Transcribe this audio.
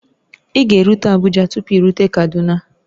Ị ga-erute Abuja tupu i rute Kaduna